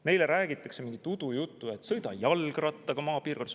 Neile räägitakse mingit udujuttu, et sõida maapiirkonnas jalgrattaga.